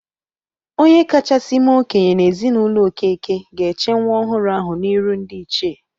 Onye kachasị mee okenye n'ezinaụlọ Okeke ga-eche nwa ọhụrụ ahụ n'iru ndị ichee